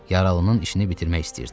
Yaralının işini bitirmək istəyirdi.